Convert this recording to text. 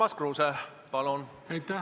Urmas Kruuse, palun!